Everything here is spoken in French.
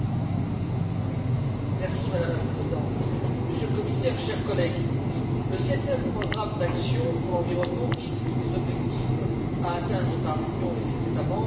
Madame la Présidente, Monsieur le Commissaire, chers collègues, le septième programme d'action pour l'environnement fixe les objectifs à atteindre par l'Union et ses États membres dans le domaine de l'environnement d'ici à